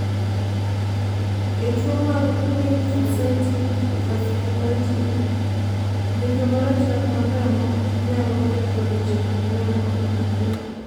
e tuo mar Lymphocytic vasculitis, ng'injo marachar mar remo nyalo ketho leche mag remo e pien del